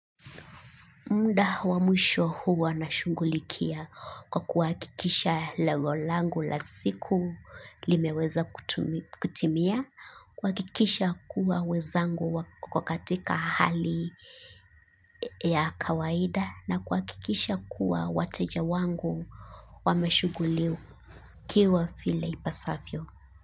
Muda wa mwisho huwa nashughulikia kwa kuhakikisha lengo langu la siku limeweza kutimia, kuhakikisha kuwa wezangu wako katika hali ya kawaida na kuhakikisha kuwa wateja wangu wameshughulikiwa vile ipasavyo.